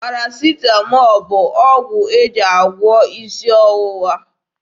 Parasịtamọọl bụ ọgwụ e ji agwọ isi ọwụwa.